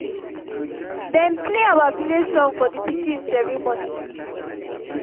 dem play our village song for the pikin ceremony